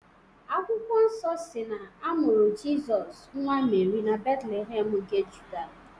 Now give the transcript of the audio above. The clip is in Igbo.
Akwụkwọ nsọ si na-amụrụ Jịsọs, nwa Meri na Betlehem nke Juda.